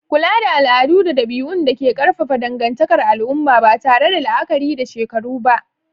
kula da al'adu da dabi'un da ke ƙarfafa dangantakar al'umma, ba tare da la'akari da shekaru ba.